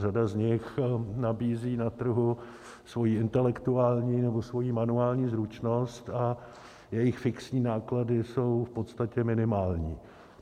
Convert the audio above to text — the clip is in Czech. Řada z nich nabízí na trhu svoji intelektuální nebo svoji manuální zručnost a jejich fixní náklady jsou v podstatě minimální.